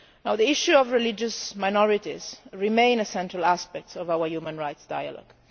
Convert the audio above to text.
The issue of religious minorities remains a central aspect of our human rights dialogue.